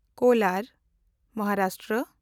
Kolar (Maharashtra)